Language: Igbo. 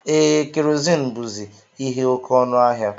Ee, kerozini buzi ihe oke ọnụ ahịa.